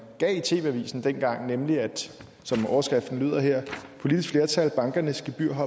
gav i tv avisen dengang og som overskriften lyder her politisk flertal bankernes gebyrhop